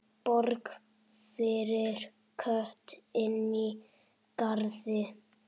Borg fyrir Kötu inní garði.